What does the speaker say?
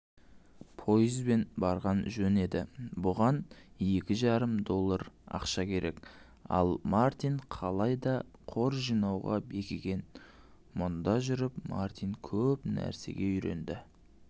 поезбен барған жөн еді бұған екі жарым доллар ақша керек ал мартин қалай да қор жинауға бекіген мұнда жүріп мартин көп нәрсеге үйренді